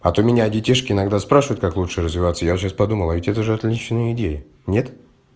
а то меня детишки иногда спрашивает как лучше развиваться я сейчас подумала а ведь это отличная идея нет